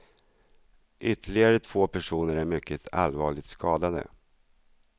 Ytterligare två personer är mycket allvarligt skadade.